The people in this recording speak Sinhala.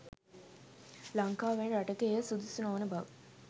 ලංකාව වැනි රටක එය සුදුසු නොවන බව